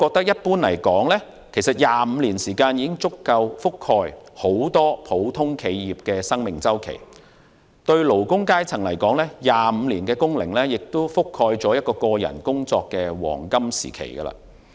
一般而言 ，25 年時間已足夠覆蓋很多普通企業的生命周期；對勞工階層而言 ，25 年工齡亦覆蓋了個人工作的黃金時期。